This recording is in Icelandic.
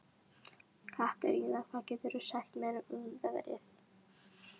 Katerína, hvað geturðu sagt mér um veðrið?